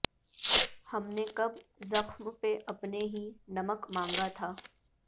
ہم نے کب زخم پہ اپنے ہی نمک مانگا تھا